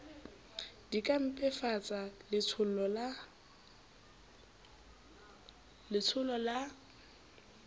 di ka mpefatsa letshollo la